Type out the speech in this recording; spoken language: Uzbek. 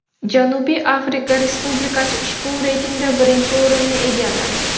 Janubiy Afrika Respublikasi ushbu reytingda birinchi o‘rinni egalladi.